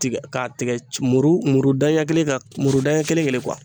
Tigɛ k'a tigɛ muru muru daɲɛ kelen kan muru daɲɛ kelen kelen